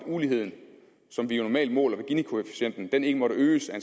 uligheden som vi jo normalt måler ved ginikoefficienten ikke måtte øges af